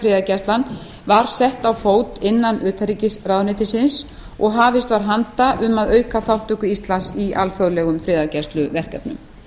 friðargæslan var sett á fót innan utanríkisráðuneytisins og hafist var handa um að auka þátttöku íslands í alþjóðlegum friðargæsluverkefnum